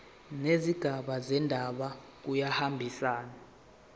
nezigaba zendaba kuyahambisana